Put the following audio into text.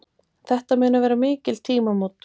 Þetta munu vera mikil tímamót.